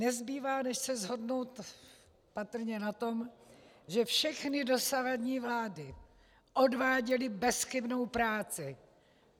Nezbývá než se shodnout patrně na tom, že všechny dosavadní vlády odváděly bezchybnou práci.